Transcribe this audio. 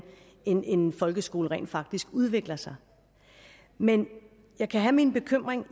en en folkeskole rent faktisk udvikler sig men jeg kan have en bekymring